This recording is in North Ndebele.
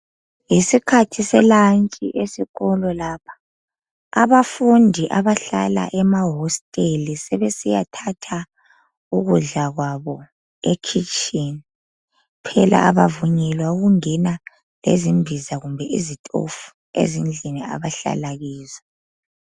Yisikhathi selantshi esikolo lapha. Abafundi abahlala emahosteli sebesiyathatha ukudla kwabo ekhitshini. Phela kabavunyelwa ukungena lezimbiza kumbe izitofu ezindlini abahlala kizo.